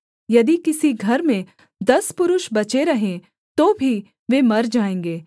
यदि किसी घर में दस पुरुष बचे रहें तो भी वे मर जाएँगे